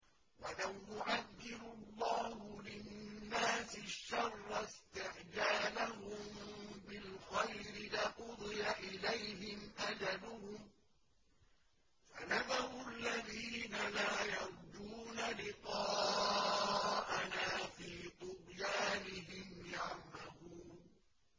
۞ وَلَوْ يُعَجِّلُ اللَّهُ لِلنَّاسِ الشَّرَّ اسْتِعْجَالَهُم بِالْخَيْرِ لَقُضِيَ إِلَيْهِمْ أَجَلُهُمْ ۖ فَنَذَرُ الَّذِينَ لَا يَرْجُونَ لِقَاءَنَا فِي طُغْيَانِهِمْ يَعْمَهُونَ